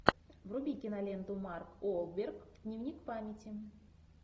вруби киноленту марк уолберг дневник памяти